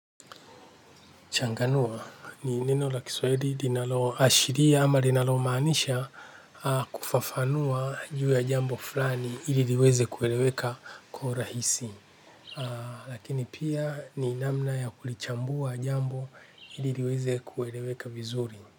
Changanua ni neno la kiswahili linalo ashiria ama linalo maanisha kufafanua juu ya jambo fulani ili liweze kueleweka kwa urahisi. Lakini pia ni namna ya kulichambua jambo ili liweze kueleweka vizuri.